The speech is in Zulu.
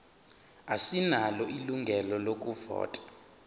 asinalo ilungelo lokuvota